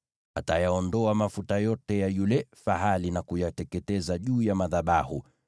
Atayaondoa mafuta yote ya yule fahali na kuyateketeza juu ya madhabahu,